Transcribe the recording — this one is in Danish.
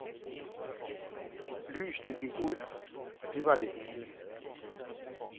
Lysene gik ud, og det var det hele.